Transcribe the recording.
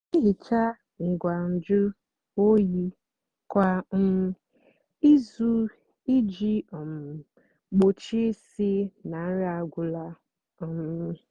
nà-èhicha ngwa nju óyí kwá um ízú íjì um gbochie ísí nà nri agwụla. um